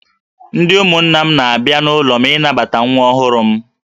Ndị ụmụnna m na-abịa n'ụlọ m ịnabata nwa ọhụrụ m